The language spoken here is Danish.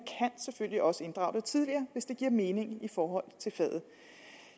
selvfølgelig også inddrage det tidligere hvis det giver mening i forhold til faget